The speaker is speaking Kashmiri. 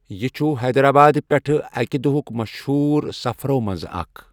یہِ چھُ حیدرآبادٕ پیٹھٕ اَکہِ دُہُک مشہوٗر سفرو منٛزٕ اکھ۔